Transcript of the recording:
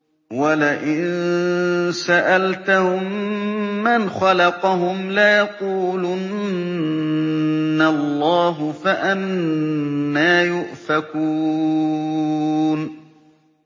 وَلَئِن سَأَلْتَهُم مَّنْ خَلَقَهُمْ لَيَقُولُنَّ اللَّهُ ۖ فَأَنَّىٰ يُؤْفَكُونَ